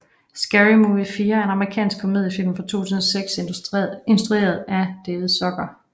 Scary Movie 4 er en amerikansk komediefilm fra 2006 instrueret af David Zucker